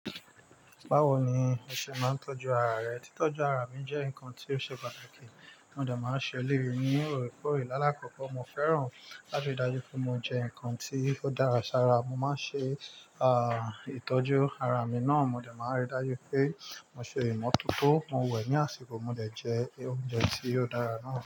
Báwo ni o ṣe máa ń tọ́jú ara rẹ? Títọ́jú ara mi jẹ́ nǹkan tí ó ṣe pàtàkì, mo dẹ máa ń ṣe eleyí, ní òorèkóòrè. Láàlá kọ́kọ́ mo fẹ́ràn láti ri dájú pé mo jẹ nǹkan tí ó dára sára. Mo máa ń ṣe, ah, ìtọ́jú ara mi náà, mo dẹ máa ń ríi dájú pé mo ṣe ìmọ̀tótó, mo wẹ̀ ní àsìkò, mo dẹ jẹ oúnjẹ tí o dára náà.